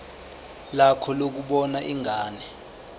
lakho lokubona ingane